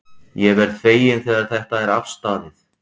Ég verð feginn þegar þetta er afstaðið.